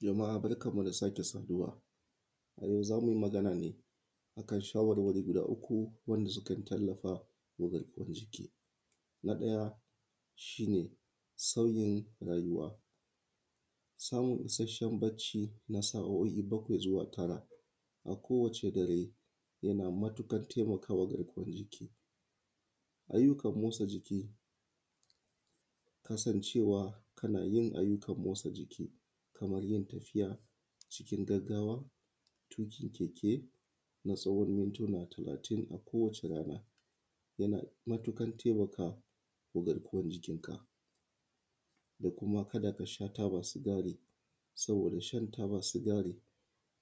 Jama’a barkan mu da sake saduwa a yau zamuyi Magana ne akan shawarwari guda uku wanda suke tallafawa garkuwan jiki. Na ɗaya shine san rayuwa samun ishashshen bacci na tsawon sa’oi bakwai zuwa tara a ko wace dare yana matuƙar taimakawa garkuwan jiki’ ayyukan matsa jiki kasan cewa kanayin ayyukan motsa jiki kamar yin tafiya cikin gaggawa, tuƙin keke na tsawon mintuna talatin a kowa rana yana matukar taimakawa garkuwan jikin ka. Sai kuma kada kasha taba sigari saboda shan taba sigari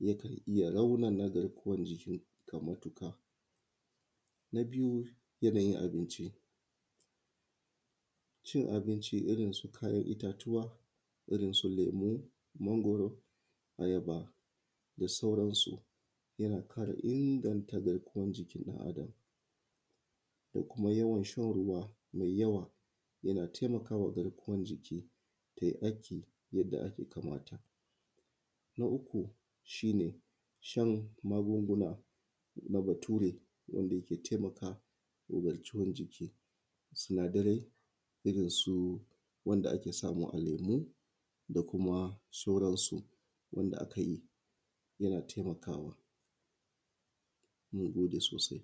yakan iyya raunana garkuwan jikin ka matuƙa. Yanayin abinci abincin kayan itta tuwa Kaman su lemu, mangwaro, ayaba da sauran su yana ƙara inganta lafiyan jikin ɗan adam. Kuma yawan shan ruwa mai yawa taimakawa garkuwan jiki tai aiki yanda ya kamata. Na uku shine shan magunguna na bature wanda yake taimakawa jarkuwan jiki, sinadaran irrin su wanda ake samu a lemu da kuma sauran su wanda hakan yana taimakawa sosai.